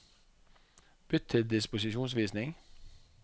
Bytt til disposisjonsvisning